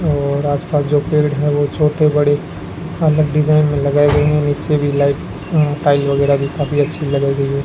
और आस-पास जो पेड़ है वो छोटे-बड़े कॉमन डिजाइन में लगायी गयी है नीचे भी लाइट टाइल वगैरा भी काफी अच्छी लगायी गयी है।